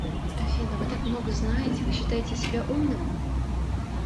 афина вы так много знаете вы считаете себя умным